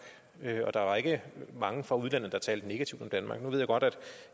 og der var ikke mange fra udlandet der talte negativt om danmark nu ved jeg godt at